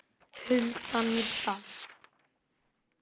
Hulda Mýrdal.